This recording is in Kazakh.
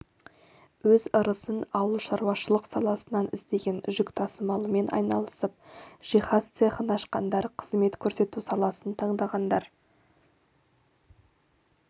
өз ырысын ауылшаруашылық саласынан іздеген жүк тасымалымен айналысып жиһаз цехын ашқандар қызмет көрсету саласын таңдағандар